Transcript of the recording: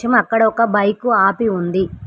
అక్కడ ఒక బైకు ఆపి ఉంది.